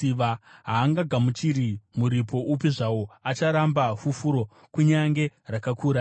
Haangagamuchiri muripo upi zvawo; acharamba fufuro, kunyange rakakura sei.